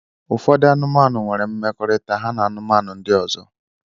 Ụfọdụ anụmanụ nwere mmekọrịta ha na anụmanụ ndị ọzọ.